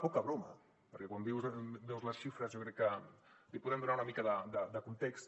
poca broma perquè quan veus les xifres jo crec que li podem donar una mica de context